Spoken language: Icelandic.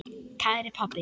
Kæri pabbi.